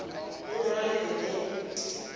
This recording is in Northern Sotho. le lona le be le